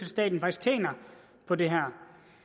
staten faktisk tjener på det her